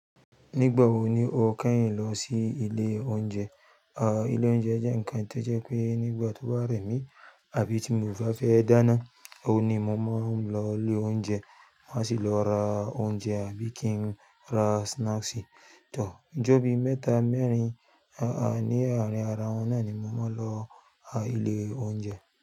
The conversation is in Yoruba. Nígbà wo ni o kẹ́yìn lọ sí ilé oúnjẹ? A, ilé oúnjẹ jẹ́ ǹkan tí ó jẹ́ pé nígbà tó bá rẹ̀mí àbí tí mo bá fẹ́ dáná, òun ni mo máa ń lọ ilé oúnjẹ. Máa sì lọ ra oúnjẹ àbí kí n ra snacks, tọ́. Ijò bí mẹ́ta mẹ́rin, a a, ní àárín ara wọn náà ni mo máa ń lọ a ilé oúnjẹ.